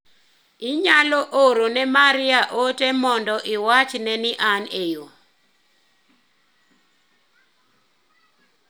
Inyalo oro ne Maria ote mondo iwach ne ni an e yoo.